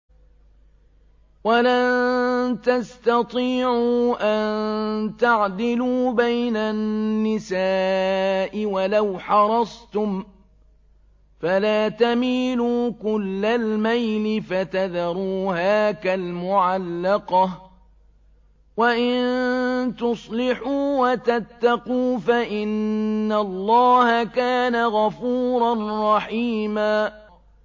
وَلَن تَسْتَطِيعُوا أَن تَعْدِلُوا بَيْنَ النِّسَاءِ وَلَوْ حَرَصْتُمْ ۖ فَلَا تَمِيلُوا كُلَّ الْمَيْلِ فَتَذَرُوهَا كَالْمُعَلَّقَةِ ۚ وَإِن تُصْلِحُوا وَتَتَّقُوا فَإِنَّ اللَّهَ كَانَ غَفُورًا رَّحِيمًا